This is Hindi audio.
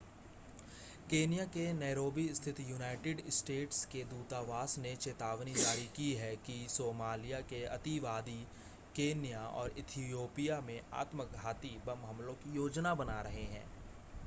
केन्या के नैरोबी स्थित यूनाइटेड स्टेट्स के दूतावास ने चेतावनी जारी की है कि सोमालिया के अतिवादी केन्या और इथियोपिया में आत्मघाती बम हमलों की योजना बना रहे हैं